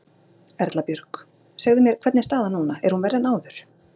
Erla Björg: Segðu mér, hvernig er staðan núna, er hún verri en áður?